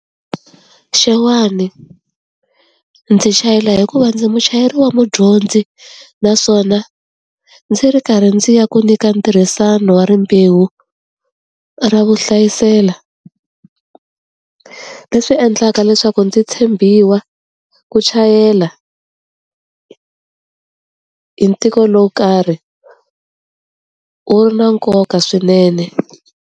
Xewani. Ndzi chayela hikuva ndzi muchayeri wa mudyondzi, naswona ndzi ri karhi ndzi ya ku nyika ntirhisano wa rimbewu ra vu hlayisela. Leswi endlaka leswaku ndzi tshembiwa ku chayela hi lowo karhi, wu na nkoka swinene.